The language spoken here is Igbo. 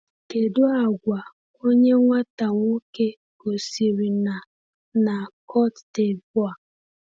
“Kedu àgwà onye nwata nwoke gosiri na na Côte d’Ivoire?”